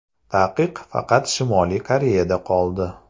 Taqiq faqat Shimoliy Koreyada qoldi.